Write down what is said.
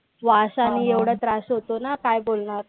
वासानी एवढा त्रास होतो ना काय बोलणार?